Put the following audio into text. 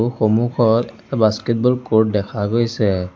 সন্মুখত এটা basketball court দেখা গৈছে।